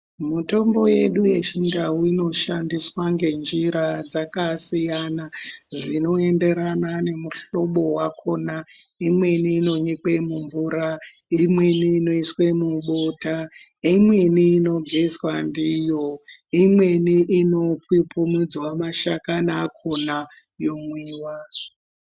Mitombo yedu yechindau inoshandiswa ngenjira dzakasiyana zvinoenderana nemihlobo yakona imweni inonyikwa mumvura imweni inoiswa mubota kuti iyi imweni inopupumunzwa mashakani akona yomwiwa.